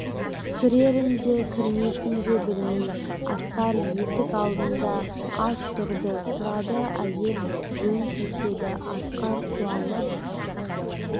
кірерін де кірмесін де білмей асқар есік алдында аз тұрды тұрады әйел жөн сілтеді асқар қуанып